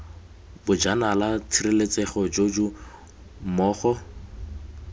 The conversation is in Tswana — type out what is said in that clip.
bojanala tshireletsego j j mmogo